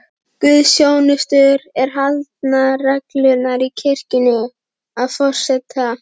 Guðsþjónustur eru haldnar reglulega í kirkjunni, að forseta